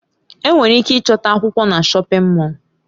Enwere ike ịchọta akwụkwọ na shọpin Mọll.